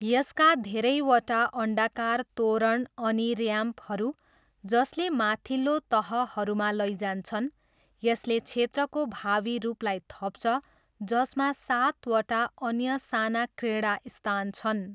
यसका धेरैवटा अन्डाकार तोरण अनि ऱ्याम्पहरू, जसले माथिल्लो तहहरूमा लैजान्छन्, यसले क्षेत्रको भावी रूपलाई थप्छ जसमा सातवटा अन्य साना क्रीडास्थान छन्।